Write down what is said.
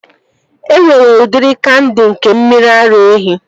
E nwere udiri kandi nke mmiri ara ehi